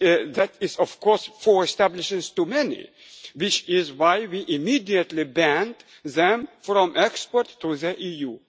approved for export. That is, of course, four establishments too many, which is why we immediately banned them